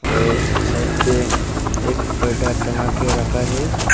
और साइड पे एक पर्दा टंगा के रखा है।